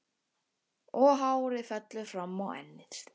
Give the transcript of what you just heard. Og hárið fellur fram á ennið.